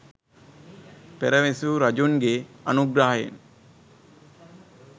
පෙර විසූ රජුන්ගේ අනුග්‍රහයෙන්